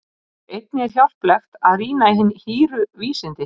einnig er hjálplegt að rýna í hin hýru vísindi